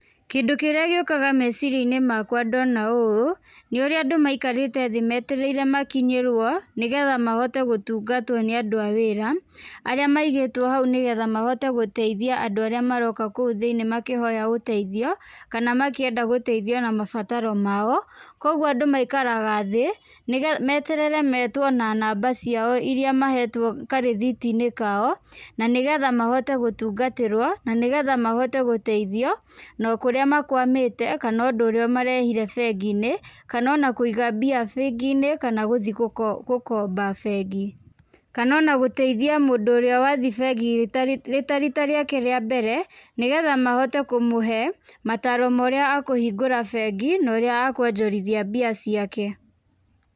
Kĩndũ kĩrĩa gĩũkaga meciria-inĩ makwa ndona ũũ, nĩ ũrĩa andũ maikarĩte thĩ meterĩire makinyĩrwo, nĩ getha mahote gũtungatwo nĩ andũ a wĩra, arĩa maigĩtwo hau nĩ getha mahote gũteithia andũ arĩa maroka kũu thĩiniĩ makĩhoya ũteithio, kana makĩenda gũteithio na mabataro mao. Kũguo andũ maikaraga thĩ, nĩ getha meterere metwo na namba ciao irĩa mahetwo karĩthiti-inĩ kao, na nĩ getha mahote gũtungatĩrwo na nĩ getha mahote gũteithio, na kũrĩa makwamĩte kana ũndũ ũrĩa ũmarehire bengi-inĩ, kana ona kũiga mbia bengi-inĩ kana gũthi gũkomba bengi. Kana ona gũteithia mũndũ ũrĩa wathi bengi rĩ ta riita rĩake rĩa mbere, nĩ getha mahote kũmũhe mataaro ma ũrĩa akũhingũre bengi, na ũrĩa akuonjorithia mbia ciake.